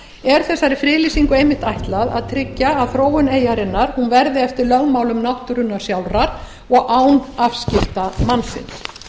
er þessari friðlýsilngu einmitt ætlað að tryggja að þróun eyjarinnar verði eftir lögmálum náttúrunnar sjálfrar og án afskipta mannsins